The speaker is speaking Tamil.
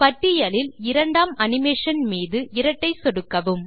பட்டியலில் இரண்டாம் அனிமேஷன் மீது இரட்டை சொடுக்கவும்